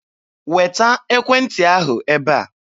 Weta ekwentị ahụ ebe a!